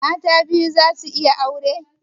Mata biyu za su iya aure?